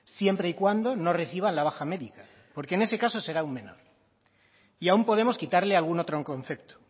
siempre y cuando no reciban la baja médica porque en ese caso será aún menor y aún podemos quitarle algún otro concepto